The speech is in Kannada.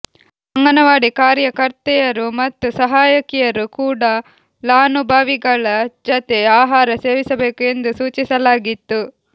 ಅಂಗನ ವಾಡಿ ಕಾರ್ಯಕರ್ತೆಯರು ಮತ್ತು ಸಹಾಯಕಿಯರು ಕೂಡಾ ಲಾನುಭವಿಗಳ ಜತೆ ಆಹಾರ ಸೇವಿಸಬೇಕು ಎಂದು ಸೂಚಿಸಲಾಗಿತ್ತು